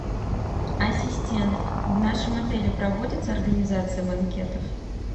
ассистент в нашем отеле проводится организация банкетов